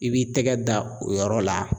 I b'i tɛgɛ da o yɔrɔ la.